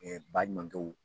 baɲumankɛw